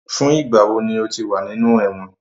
Fun igba wo ni o ti wa ninu ẹwọn?